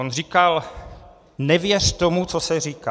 On říkal: "Nevěř tomu, co se říká.